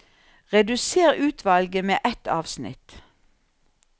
Redusér utvalget med ett avsnitt